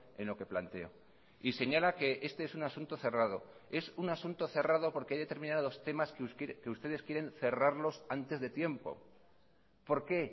en lo que planteo y señala que este es un asunto cerrado es un asunto cerrado porque hay determinados temas que ustedes quieren cerrarlos antes de tiempo por qué